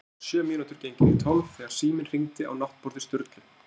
Klukkan var sjö mínútur gengin í tólf þegar síminn hringdi á náttborði Sturlu.